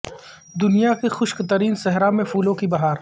دنیا کے خشک ترین صحرا میں پھولوں کی بہار